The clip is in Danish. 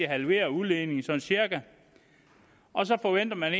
halveret udledningen og så forventer man